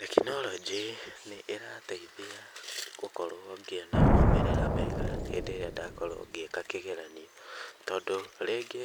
Tekinoronjĩ nĩ ĩrateithia gũkorwo ndĩna maumĩrĩra mega hĩndĩ ĩrĩa ndakorwo ngĩka kĩgeranio tondũ rĩngĩ